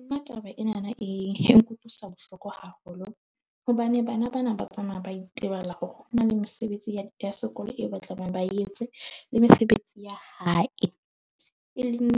Nna taba ena na e nkutlwisa bohloko haholo hobane bana ba na ba tsamaya ba itebala ho na le mesebetsi ya sekolo eo ba tlamehang ba e entse le mesebetsi ya hae. E leng